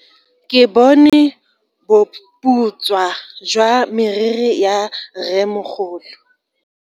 Ke bone boputswa jwa meriri ya rremogolo.